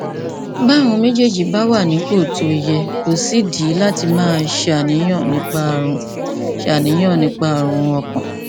bí àwọn méjèèjì bá wà nípò tó yẹ kò sídìí láti máa ṣàníyàn nípa ààrùn ṣàníyàn nípa ààrùn ọkàn